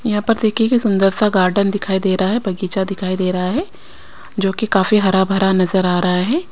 यहां पर देखीए की सुंदर सा गार्डन दिखाई दे रहा है। बगीचा दिखाई दे रहा है जो की काफी हरा भरा नजर आ रहा है।